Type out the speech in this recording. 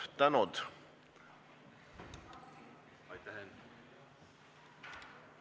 Suur tänu!